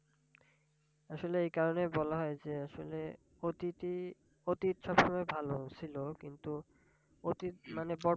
আসলে এই কারনেই বলা হয় যে আসলে অতীতই, অতীত সবসময় ভালো ছিল কিন্তু অতীত মানে